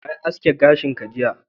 Wa ya aske gashin ka jiya?